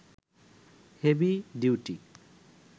heavy duty